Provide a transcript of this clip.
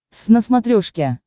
твз на смотрешке